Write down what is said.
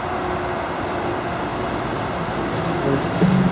ਉਹ ਇੱਕ ਫ਼ੇਰ